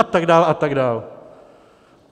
A tak dále, a tak dále.